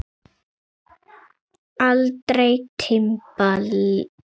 Eldri tímabil